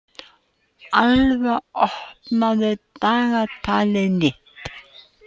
Alva, opnaðu dagatalið mitt.